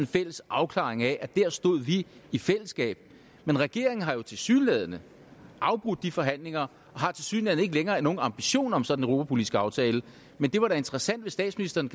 fælles afklaring af at der stod vi i fællesskab men regeringen har jo tilsyneladende afbrudt de forhandlinger og har tilsyneladende ikke længere nogen ambition om sådan en europapolitisk aftale men det var da interessant hvis statsministeren